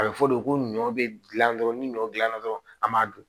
A bɛ fɔ de ko ɲɔ bɛ dilan dɔrɔn ni ɲɔ dilanna dɔrɔn an b'a dun